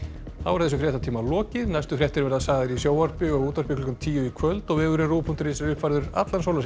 þessum fréttatíma er lokið næstu fréttir verða sagðar í sjónvarpi og útvarpi klukkan tíu í kvöld og vefurinn rúv punktur is er uppfærður allan sólarhringinn